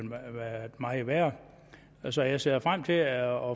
meget værre så jeg ser frem til at